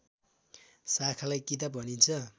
शाखालाई किताब भनिन्छ